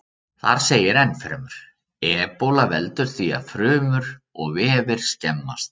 Þar segir ennfremur: Ebóla veldur því að frumur og vefir skemmast.